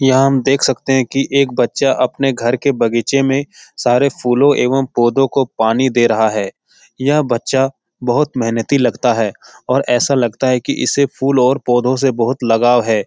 यहाँ हम देख सकते है की एक बच्चा अपने घर के बगीचे में सारे फूलों एवं पौधों को पानी दे रहा हैं यह बच्चा बहुत मेहनती लगता है और ऐसा लगता है की इसे फूल और पौधों से बहुत लगाव है ।